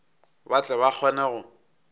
ba tle ba kgone go